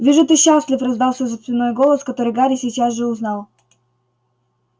вижу ты счастлив раздался за спиной голос который гарри сейчас же узнал